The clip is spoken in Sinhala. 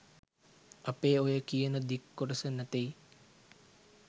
අපේ ඔය කියන දික් කොටස නැතෙයි